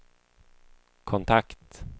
kontakt